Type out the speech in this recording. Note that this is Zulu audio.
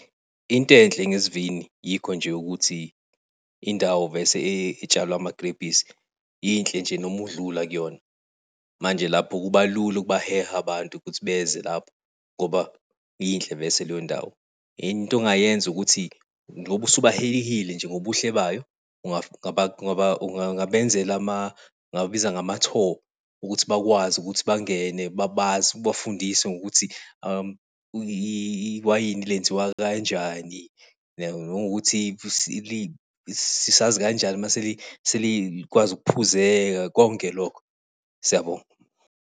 Into enhle ngesivini, yikho nje ukuthi indawo vese etshalwe amagrebhisi, yinhle nje noma udlula kuyona. Manje lapho kuba lula ukubaheha abantu ukuthi beze lapho ngoba yinhle vese leyo ndawo. Into ongayenza ukuthi, ngoba usubahehile nje ngobuhle bayo, ungabenzela ama, ungawabiza ngama-tour, ukuthi bakwazi ukuthi bangene babazi, ubafundise ngokuthi iwayini lenziwa kanjani nanokuthi sazi kanjani mase selikwazi ukuphuzela, konke lokho. Siyabonga.